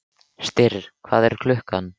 Styrr, hvað er klukkan?